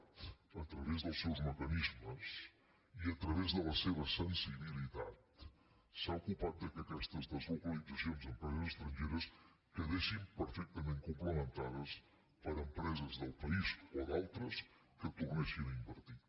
a través dels seus mecanismes i a través de la seva sensibilitat s’ha ocupat que aquestes deslocalitza·cions d’empreses estrangeres quedessin perfectament complementades per empreses del país o d’altres que tornessin a invertir